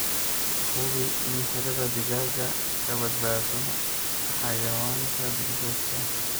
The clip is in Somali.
Hubi in xiradhaa digaaga ka badbaado xayawaanka duurjoogta ah.